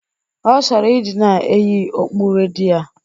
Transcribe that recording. Ọ chọrọ ịdị na-eyi okpu redi a